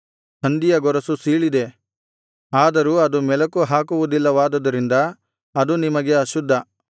ಹಂದಿಯ ಗೊರಸು ಸೀಳಿದೆ ಆದರೂ ಅದು ಮೆಲಕು ಹಾಕುವುದಿಲ್ಲವಾದುದರಿಂದ ಅದು ನಿಮಗೆ ಅಶುದ್ಧ